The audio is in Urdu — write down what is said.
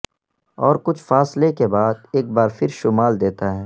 اور کچھ فاصلے کے بعد ایک بار پھر شمال دیتا ہے